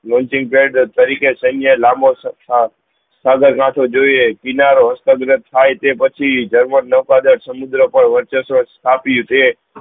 lainching તરીકે સેન્ય લાંબો સાગર ગાઠવો જોયીયે કિનારો હસ્ત ત્પ્થાય તે પછી જર્મન ના પરદાન સમુદ્ર પર વ્ર્ચવ્સ સ્થાપીયું તે